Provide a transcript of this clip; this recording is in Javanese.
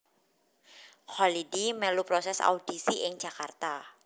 Kholidi melu proses audisi ing Jakarta